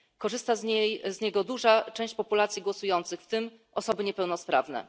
Korzysta z niego duża część populacji głosujących, w tym osoby niepełnosprawne.